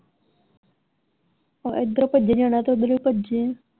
ਆਹ ਏਧਰੋਂ ਭੱਜੇ ਜਾਣਾ ਤੇ ਓਧਰ ਵੀ ਭੱਜੇ।